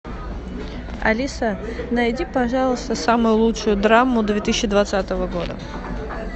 алиса найди пожалуйста самую лучшую драму две тысячи двадцатого года